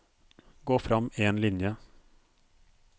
Gå frem én linje